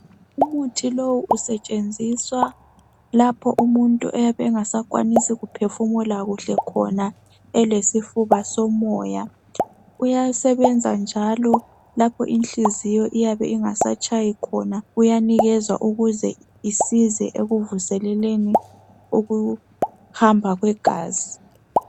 Umuthi lowu usetshenziswa lapho umuntu oyabe engasakwanisi ukuphefumula kuhle khona elesifuba somoya. Uyasebenza njalo lapho inhliziyo iyabe ingasatshayi khona uyanikezwa ukuze isize ekuvuseleleni ukuhamba kwegazi.